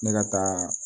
Ne ka taa